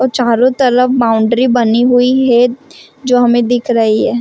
और चारों तरफ बाउंड्री बनी हुई है जो हमें दिख रही है।